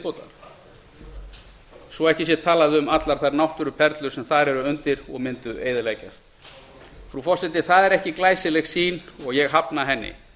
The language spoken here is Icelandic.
viðbótar svo ekki sé talað um allar þær náttúruperlur sem þar eru undir og mundu eyðileggjast frú forseti það er ekki glæsileg sýn og ég hafna henni